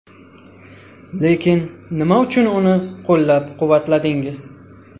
Lekin nima uchun uni qo‘llab-quvvatladingiz?